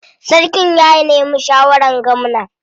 Sarkin ya nemi shawarar gwamna.